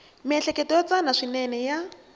miehleketo yo tsana swinene ya